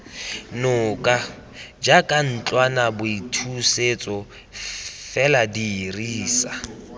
noka jaaka ntlwanaboithusetso fela dirisa